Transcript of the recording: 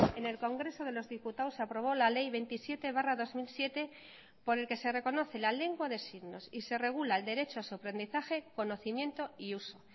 en el congreso de los diputados se aprobó la ley veintisiete barra dos mil siete por el que se reconoce la lengua de signos y se regula el derecho a su aprendizaje conocimiento y uso